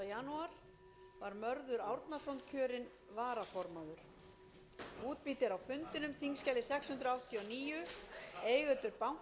á fundi íslandsdeildar á evrópuráðsþinginu í gær sautjánda janúar var mörður árnason kjörinn varaformaður